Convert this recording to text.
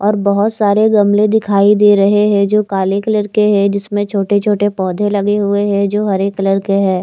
और बहुत सारे गमले दिखाई दे रहे है जो काले कलर के है जिसमे छोटे छोटे पौधे लगे हुए है जो हरे कलर के है ।